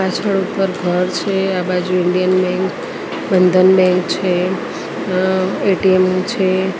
પાછડ ઉપર ઘર છે આ બાજુ ઇન્ડિયન બેન્ક બંધન બેન્ક છે અ એ_ટી_એમ છે.